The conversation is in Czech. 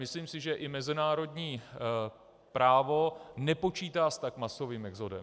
Myslím si, že i mezinárodní právo nepočítá s tak masovým exodem.